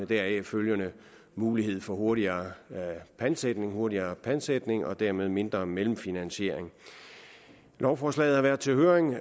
deraf følgende mulighed for hurtigere pantsætning hurtigere pantsætning og dermed mindre mellemfinansiering lovforslaget har været til høring